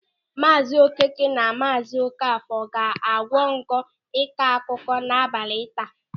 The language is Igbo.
Maazi Okeke na Maazi Okafọ ga-akwa ngu n'ịkọakụkọ n'abalị taa.